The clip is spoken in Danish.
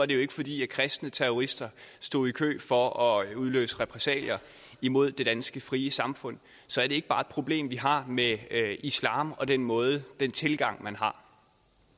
det jo ikke fordi kristne terrorister stod i kø for at udløse repressalier imod det danske frie samfund så er det ikke bare et problem vi har med islam og den måde den tilgang man har